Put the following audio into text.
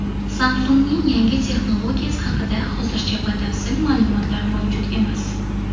Samsung‘ning yangi texnologiyasi haqida hozircha batafsil ma’lumotlar mavjud emas.